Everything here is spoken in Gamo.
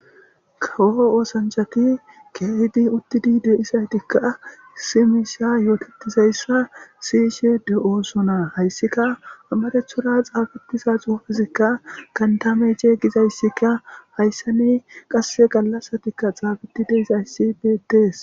Kawo osanchchati keehidi uttidi de'izaytikka sinththa yootetizayssa siyishe de'osona. Hayssika amarathora xaafetida xuufezikka gantta meycce gizayssika hayssan qasseka gallasatikka xaafetidi dizayssikka beettees.